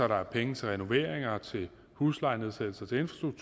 der er penge til renoveringer og til huslejenedsættelser